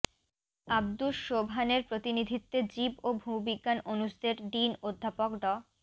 আব্দুস সোবহানের প্রতিনিধিত্বে জীব ও ভূবিজ্ঞান অনুষদের ডিন অধ্যাপক ড